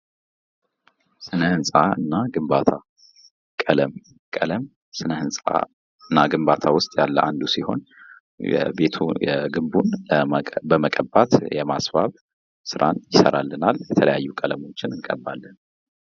ስነ ህንጻ የሰዎችን የፈጠራ ችሎታ የሚያነቃቁና አዳዲስ ሀሳቦች እንዲፈጠሩ የሚያበረታቱ የስራ አካባቢዎችን ይፈጥራል፤ ግንባታ ደግሞ እነዚህን ምቹ የስራ ቦታዎች እውን ያደርጋል።